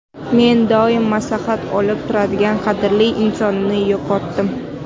Men doim maslahat olib turadigan qadrli insonimni yo‘qotdim.